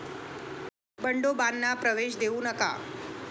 बंडोबांना प्रवेश देऊ नका'